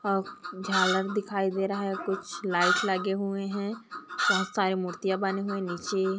अ झालर दिखाई दे रहा है कुछ लाइट लगे हुए है बोहोत सारे मूर्तियाँ बनी हुई नीचे --